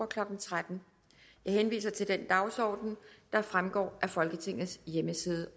klokken tretten jeg henviser til den dagsorden der fremgår af folketingets hjemmeside